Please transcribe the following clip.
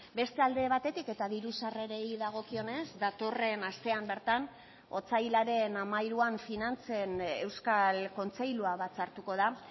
beste alde batetik eta diru sarrerei dagokionez datorren astean bertan otsailaren hamairuan finantzen euskal kontseilua batzartuko da